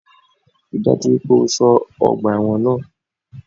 Rí i dájú wípé o só ọgbà ẹ́wọ̀n náà